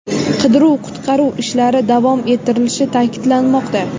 Qidiruv-qutqaruv ishlari davom ettirilishi ta’kidlanmoqda.